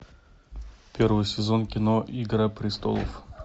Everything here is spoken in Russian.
первый сезон кино игра престолов